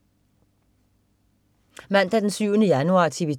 Mandag den 7. januar - TV 2: